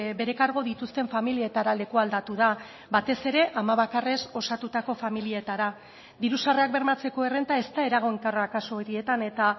bere kargu dituzten familietara lekualdatu da batez ere ama bakarrez osatutako familietara diru sarrerak bermatzeko errenta ez da eraginkorra kasu horietan eta